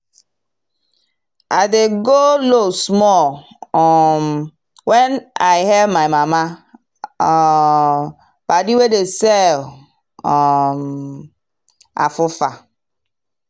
i dey go low small um when i hail my mama um padi wey dey sell um afufa.